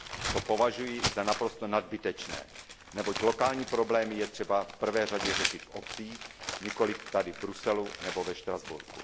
To považuji za naprosto nadbytečné, neboť lokální problémy je třeba v prvé řadě řešit v obcích, nikoli tady v Bruselu nebo ve Štrasburku.